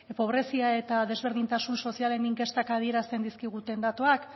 pobrezia eta desberdintasun sozialen inkestek adierazten dizkiguten datuak